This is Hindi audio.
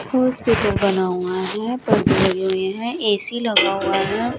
हॉस्पिटल बना हुआ है परदे लगे हुए हैं ए_सी लगा हुआ है।